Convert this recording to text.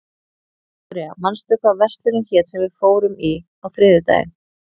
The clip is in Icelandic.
Viktoria, manstu hvað verslunin hét sem við fórum í á þriðjudaginn?